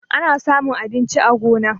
Ana samun abinci a gona.